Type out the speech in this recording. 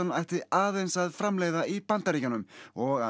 ætti aðeins að framleiða í Bandaríkjunum og að